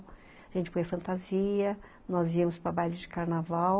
A gente punha a fantasia, nós íamos para bailes de carnaval.